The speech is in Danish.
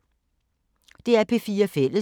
DR P4 Fælles